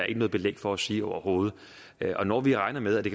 ikke noget belæg for at sige overhovedet når vi regner med at det